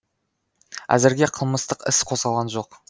әзірге қылмыстық іс қозғалған жоқ